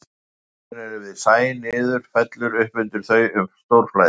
Skörðin eru við sæ niður og fellur upp undir þau um stórflæði.